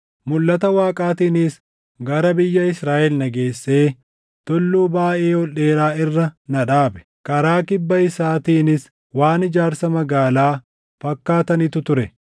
Mulʼata Waaqaatiinis gara biyya Israaʼel na geessee tulluu baayʼee ol dheeraa irra na dhaabe; karaa kibba isaatiinis waan ijaarsa magaalaa fakkaatanitu ture.